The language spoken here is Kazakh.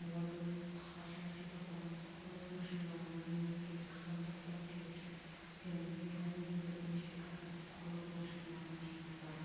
олардың қысқаша сипаттамасы құрылыс машиналарына мемлекеттік стандарттар түйіршік пен механизмдер унификациясы құрылыс машиналарының жинақтары